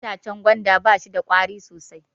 Itacen gwanda ba shida ƙwari sosai